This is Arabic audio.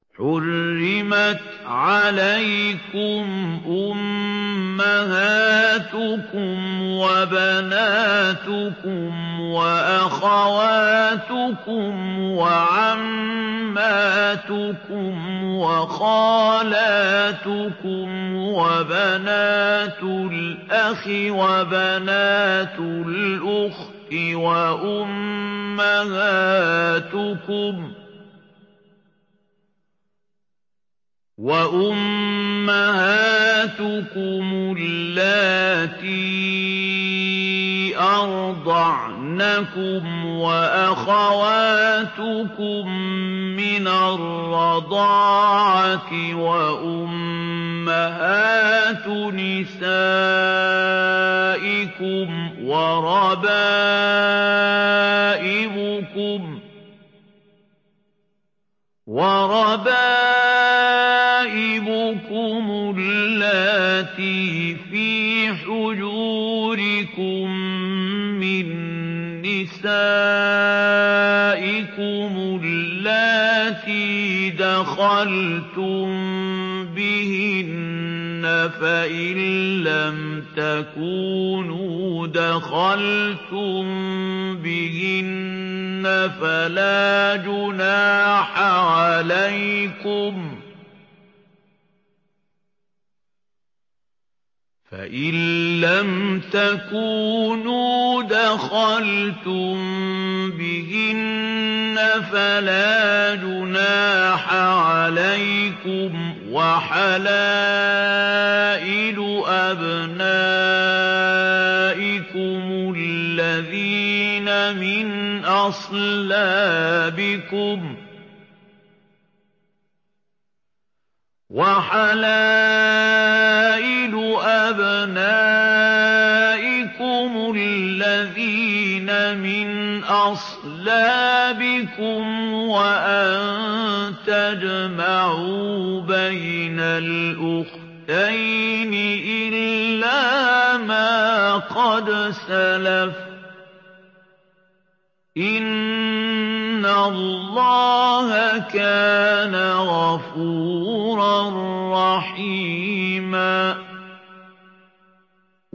حُرِّمَتْ عَلَيْكُمْ أُمَّهَاتُكُمْ وَبَنَاتُكُمْ وَأَخَوَاتُكُمْ وَعَمَّاتُكُمْ وَخَالَاتُكُمْ وَبَنَاتُ الْأَخِ وَبَنَاتُ الْأُخْتِ وَأُمَّهَاتُكُمُ اللَّاتِي أَرْضَعْنَكُمْ وَأَخَوَاتُكُم مِّنَ الرَّضَاعَةِ وَأُمَّهَاتُ نِسَائِكُمْ وَرَبَائِبُكُمُ اللَّاتِي فِي حُجُورِكُم مِّن نِّسَائِكُمُ اللَّاتِي دَخَلْتُم بِهِنَّ فَإِن لَّمْ تَكُونُوا دَخَلْتُم بِهِنَّ فَلَا جُنَاحَ عَلَيْكُمْ وَحَلَائِلُ أَبْنَائِكُمُ الَّذِينَ مِنْ أَصْلَابِكُمْ وَأَن تَجْمَعُوا بَيْنَ الْأُخْتَيْنِ إِلَّا مَا قَدْ سَلَفَ ۗ إِنَّ اللَّهَ كَانَ غَفُورًا رَّحِيمًا